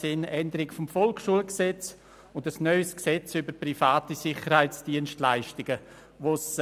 Die Änderung des Volksschulgesetzes (VSG) und das neue Gesetz über private Sicherheitsdienstleistungen durch Private (SDPG).